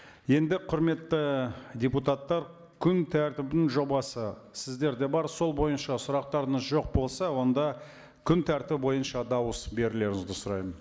енді құрметті депутаттар күн тәртібінің жобасы сіздерде бар сол бойынша сұрақтарыңыз жоқ болса онда күн тәртібі бойынша дауыс берулеріңізді сұраймын